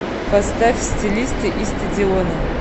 поставь стилисты и стадионы